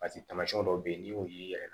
Paseke tamasiyɛn dɔw bɛ yen n'i y'o ye i yɛrɛ